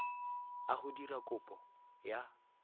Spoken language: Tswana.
a go dira kopo ya